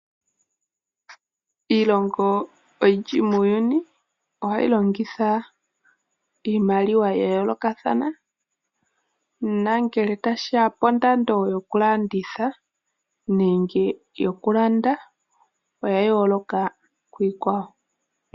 Iilongo iyindji muuyuni ohayi longitha iimaliwa yayoolokathana nongele tashi ya pondando yoku landitha nenge yoku landa oyayooloka kiikwawo.